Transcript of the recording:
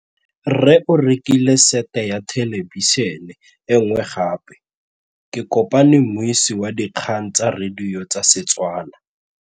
Rre o rekile sete ya thêlêbišênê e nngwe gape. Ke kopane mmuisi w dikgang tsa radio tsa Setswana.